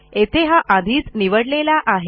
येथे हा आधीच निवडलेला आहे